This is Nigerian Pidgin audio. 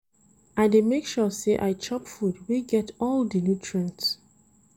I dey make sure sey I chop food wey get all di nutrients.